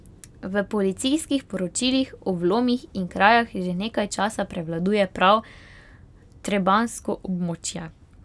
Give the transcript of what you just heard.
V policijskih poročilih o vlomih in krajah že nekaj časa prevladuje prav trebanjsko območje.